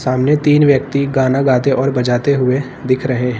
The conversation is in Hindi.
हमने तीन व्यक्ति गाना गाते और बजाते हुए दिख रहे हैं।